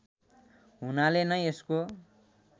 हुनाले नै यसको